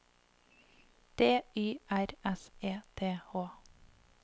D Y R S E T H